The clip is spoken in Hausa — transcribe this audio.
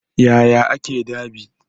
Yaya ake dab'i?